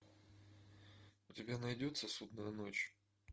у тебя найдется судная ночь